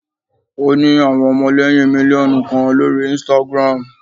o ni awọn ọmọlẹyin miliọnu kan lori Instagram.